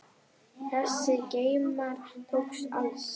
Þessir geymar tóku alls